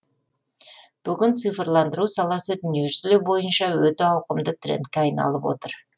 бүгін цифрландыру саласы дүниежүзі бойынша өте ауқымды трендке айналып отыр